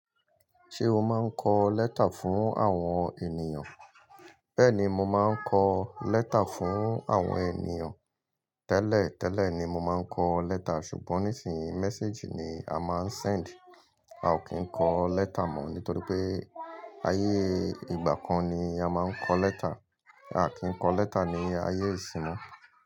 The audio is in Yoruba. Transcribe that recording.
Ṣé o máa ń kọ lẹ́tà fún àwọn ènìyàn? Bẹ́ẹ̀ni, mo máa ń kọ lẹ́tà fún àwọn ènìyàn. Tẹ́lẹ̀ tẹ́lẹ̀ ni mo máa ń kọ lẹ́tà ṣùgbọ́n nísìnyí, message ni a máa ń send. A ò kí ń kọ lẹ́tà mọ́ nítorí pé ayé ìgbà kan ni a máa ń kọ lẹ́tà. A kì í kọ lẹ́tà ní ayé ìsinmi.